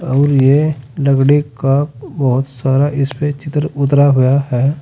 और ये लकड़ी का बहुत सारा इसपे चित्र उतरा हुआ है।